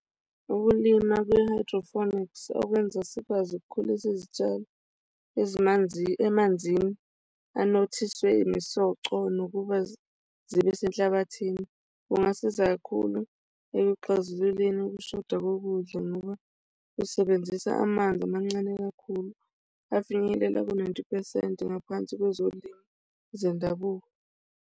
Ukulima kwe-hydroponics okwenza sikwazi ukukhulisa izitshalo ezimanzi emanzini anothiswe imisoco nokuba zibe senhlabathini, kungasiza kakhulu ekuxazululeni ukushoda kokudla ngoba kusebenzisa amanzi amancane kakhulu afinyelela ku-ninety phesenti ngaphansi kwezolimo zendabuko.